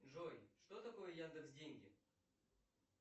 джой что такое яндекс деньги